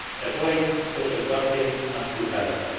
avoid social dumping, is still valid.